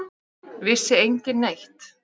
Vissi enginn neitt?